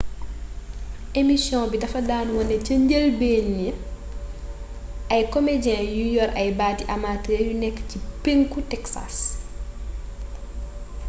emisiyoŋ bi dafa daan wone ci njëlbeen ay komejee yu yor ay baati amatër yu nekk ci penku texas